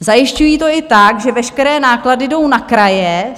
Zajišťují to i tak, že veškeré náklady jdou na kraje.